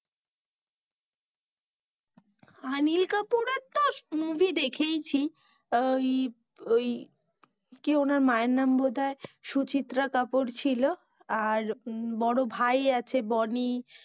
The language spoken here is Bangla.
অনিল কাপুরের তো movie দেখেই ছি, আঃ ওই কি ওনার মা এর নাম বোধাই সুচিত্রা কাপুর ছিল আর বড়ো ভাই আছে বনি,